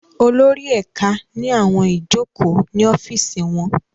Olórí ẹ̀ka ní àwọn ìjókòó ní ọ́fìsì wọn